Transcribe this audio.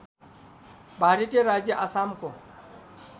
भारतीय राज्य आसामको